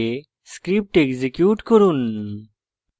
script execute করুন